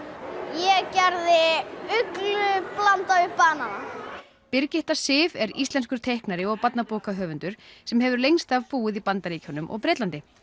ég gerði uglu blandaða við banana Birgitta Sif er íslenskur teiknari og barnabókahöfundur sem hefur lengst af búið í Bandaríkjunum og Bretlandi